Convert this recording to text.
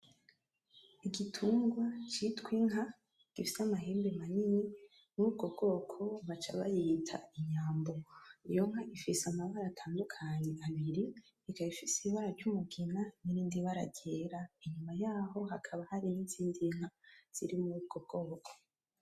Igitugwa citwa inka gifise amahembe manini murubwo bwoko bakaca bayita inyambo. Iyo nka ifise amabara atandukanye abiri ikabifise ibara ry' umugina , n’irindi bara ryera inyuma yaho hakaba hari izindi nka zo muri ubwo bwoko.